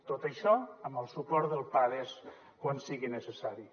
tot això amb el suport del pades quan sigui necessari